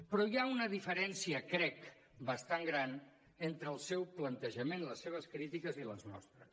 però hi ha una diferència crec bastant gran entre el seu plantejament les seves crítiques i les nostres